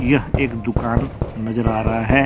यह एक दुकान नजर आ रहा है।